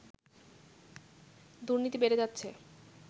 দুর্নীতি বেড়ে যাচ্ছে